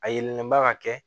A yelenba ka kɛ